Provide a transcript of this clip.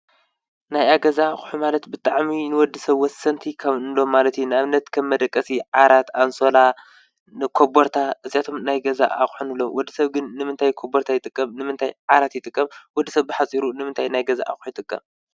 ናይ ኣገዛ ሕማለት ብጥዕሚ ንወዲ ሰብ ወሰንቲ ኸምሎ ማለቲ ናእብነት ከብ መደቀሲ ዓራት ኣንሶላ ፣ኮቡርታ እዚኣቶም ናይገዛ ኣኾኑሎም ወዲ ሰብግን ንምንታይ ኮበርታ ኣይጥቀም ንምንታይ ዓራት ይጥቀብ ወዲ ሰብ ሕፂሩ ንምንታይ ናይገዛ ኣ ኣይጥቀብ